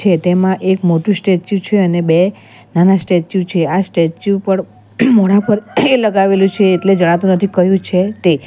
તેમાં એક મોટું સ્ટેચ્યુ છે અને બે નાના સ્ટેચ્યુ છે આ સ્ટેચ્યુ પર મોઢા પર લગાવેલું છે એટલે જણાતું નથી ક્યુ છે તે.